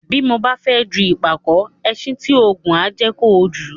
Bí kò ba fẹ ju ìpàkó, ẹṣin tí ó ngùn á jẹ kojù